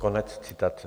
Konec citace.